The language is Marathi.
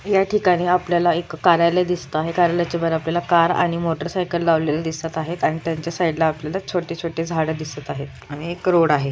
या ठिकाणी आपल्याला एक कार्यालय दिसत आहे कार्यालयच्या वर आपल्याला कार आणि मोटर साइकिल लावलेल दिसत आहे आणि त्यांच्या साइड ला आपल्याला छोटी-छोटी झाड दिसत आहेत आणि एक रोड आहे.